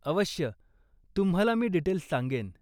अवश्य, तुम्हाला मी डिटेल्स सांगेन.